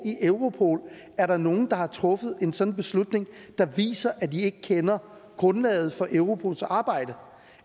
i europol er der nogen der har truffet en sådan beslutning der viser at de ikke kender grundlaget for europols arbejde